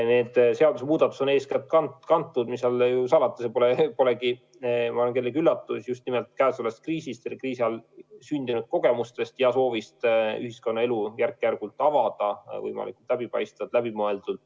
Need seadusemuudatused on eeskätt kantud, mis seal salata – see pole kellelegi üllatus –, just nimelt praegusest kriisist, kriisi ajal sündinud kogemustest ja soovist ühiskonnaelu järk-järgult avada võimalikult läbipaistvalt, läbimõeldult.